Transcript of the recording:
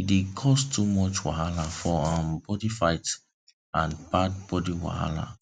e dey cause too much wahala for um body fight and bad body wahala